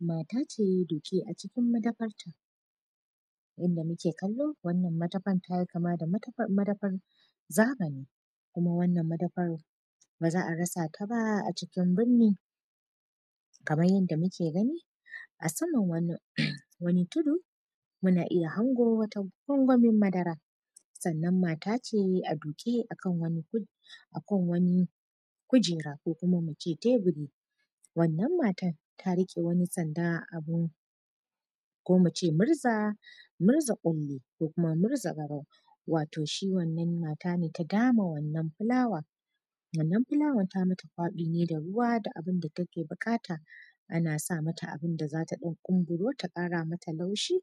Mata ce duke a cikin madafanta wanda muke kallo wannan madafan tayi kama da madafan zamani kuma wannan madafan baza a rasa ta ba a cikin burni, kamar yadda muke gani a saman wani tudu muna iya hango wani kwankwanin madara sannan mata ce a duke a kan wani kujera ko kuma mu ce teburi wannan matan ta rike wani sanda abun ko muce murza murza kulli ko murza garau wato shi wannan mata ta dama wannan fulawa wannan fulawan tayi mata kwabi ne da ruwa da abun da take bukata ana sa mata abun da zata dan kumburo ta kara mata laushi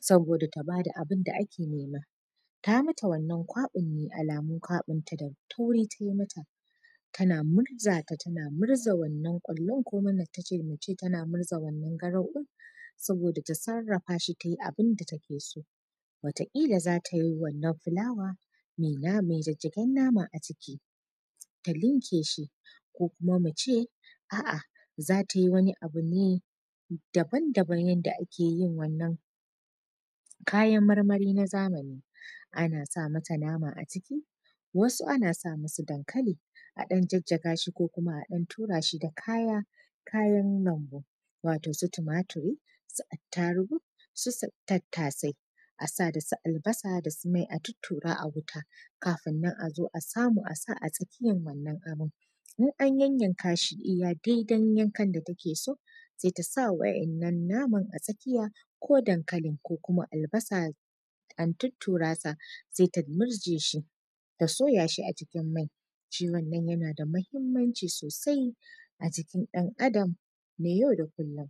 saboda ta bada abun da ake nema, ta bata wannan kwabin ne alamun kwabinta da tauri tayi ta tana murza ta tana murza wannan kullun ko kuma muce tana murza wannan garau ɗin saboda ta sarafa shi tayi abun da take so wata kila zata yi wannan fulawan mai jajjagen nama a ciki ta ninke shi ko kuma muce a’a zata yi wani abu ne daban-daban yadda ake yin wannan kayan marmari na zamani ana sa mata nama a ciki wasu ana sa masu dankali a ɗan jajjaga shi ko kuma a ɗan tura shi da kayan lambu wato su tumaturi su attarugu su tattasai asa da su albasa da su mai a tuttura a wuta kafin nan azo a samu a sa a tsakiyar wannan abun, in an yayyaka shi iya daidai yankan da take so sai tasa waɗannan naman a tsakiya ko dankalin ko albasa an tutturasa sai ta murje shi ta soya shi a cikin mai shi wannan yana muhimmanci sosai a jikin dan adam na yau da kullum.